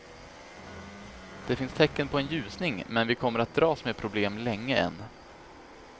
Det finns tecken på en ljusning, men vi kommer att dras med problem länge än.